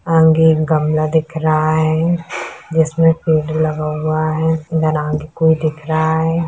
आगे एक गमला दिख रहा है जिसमें पैंट लगा हुआ है कोई दिख रहा है।